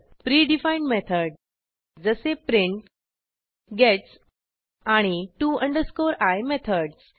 pre defined method जसे print gets आणि to i methods